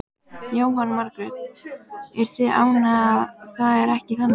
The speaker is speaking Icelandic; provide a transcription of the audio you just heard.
Jóhanna Margrét: Eruð þið ánægðar að það er ekki þannig?